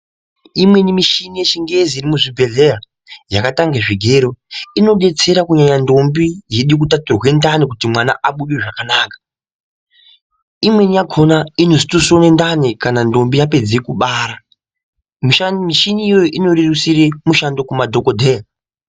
Imweni mishini yechingezi iri muzvibhedhlera yakadai ngezvigero inodetsera kunyanya ntombi yeide kuthathurwe ndani kuti mwana abude zvakanaka. Imweni yakhona inozotosone ndani kana ntombi yapedze kubara. Mishini iyoyo inorerutsire mushando kumadhokodheya.